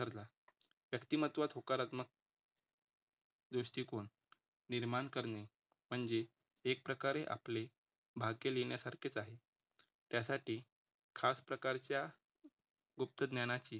व्यक्तिमत्व होकारात्मक दृष्टिकोन निर्माण करणे म्हणजे एक प्रकारे आपले भाग्य लिहिण्यासारखेचं आहे. त्यासाठी खास प्रकारच्या गुप्त ज्ञानाची